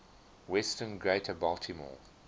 western greater baltimore